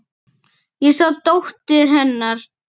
Ég sá dóttur. hennar.